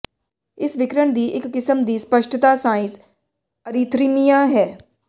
ਇਸ ਵਿਕਿਰਣ ਦੀ ਇੱਕ ਕਿਸਮ ਦੀ ਸਪੱਸ਼ਟਤਾ ਸਾਇਨਸ ਅਰੀਥਰਮੀਆ ਹੈ